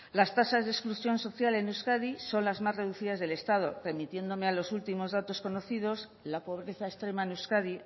las tasas de exclusión social en euskadi son las más reducidas del estado remitiéndome a los últimos datos conocidos la pobreza extrema en euskadi